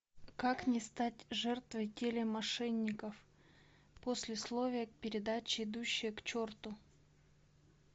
как не стать жертвой телемошенников послесловие к передаче идущие к черту